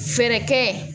Fɛɛrɛ kɛ